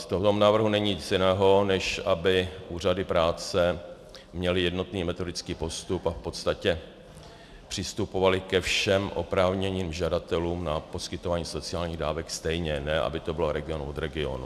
V tomto návrhu není nic jiného, než aby úřady práce měly jednotný metodický postup a v podstatě přistupovaly ke všem oprávněným žadatelům na poskytování sociálních dávek stejně, ne aby to bylo region od regionu.